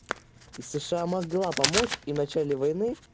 и сша могла помочь и в начале войны